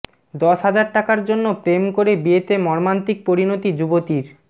দশ হাজার টাকার জন্য প্রেম করে বিয়েতে মর্মান্তিক পরিণতি যুবতীর